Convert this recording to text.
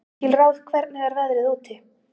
Engilráð, hvernig er veðrið úti?